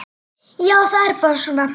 Já, það er bara svona.